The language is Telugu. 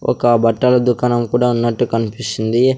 ఒక బట్టల దుకాణం కూడా ఉన్నట్టు కనిపిస్తుంది.